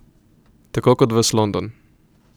Tako kot ves London.